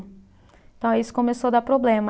Então, aí isso começou dar problema.